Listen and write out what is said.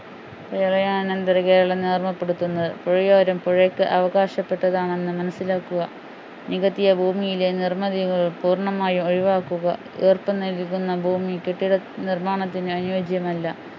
പ്രളയാനന്തര കേരളം ഓർമ്മപ്പെടുത്തുന്നത്. പുഴയോരം പുഴയ്ക്ക് അവകാശപ്പെട്ടതാണെന്ന് മനസ്സിലാക്കുക നികത്തിയ ഭൂമിയിലെ നിർമിതികൾ പൂർണ്ണമായും ഒഴിവാക്കുക ഈർപ്പം നിലനിൽക്കുന്ന ഭൂമി കെട്ടിട നിർമ്മാണത്തിന് അനുയോജ്യമല്ല